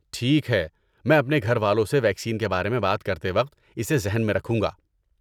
ٹھیک ہے، میں اپنے گھر والوں سے ویکسین کے بارے میں بات کرتے وقت اسے ذہن میں رکھوں گا۔